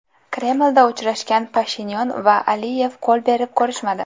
Kremlda uchrashgan Pashinyan va Aliyev qo‘l berib ko‘rishmadi.